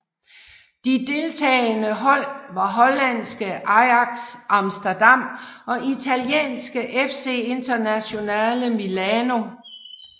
De deltagende hold var holandske Ajax Amsterdam og italienske FC Internazionale Milano